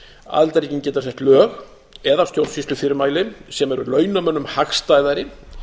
aðildarríkin geta sett lög eða stjórnsýslufyrirmæli sem eru launamönnum hagstæðari